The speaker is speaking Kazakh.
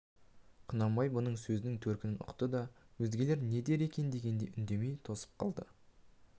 құнанбай мұның сөзінің төркінін ұқты да өзгелер не дер екен дегендей үндемей тосып қалды